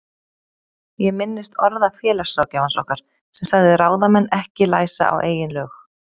Ég minnist orða félagsráðgjafans okkar sem sagði ráðamenn ekki læsa á eigin lög.